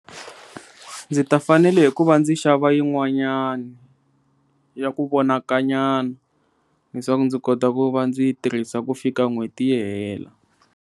Ndzi ta fanele hi ku va ndzi xava yin'wanyani ya ku vonaka nyana leswaku ndzi kota ku va ndzi yi tirhisa ku fika n'hweti yi hela.